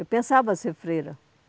Eu pensava em ser freira.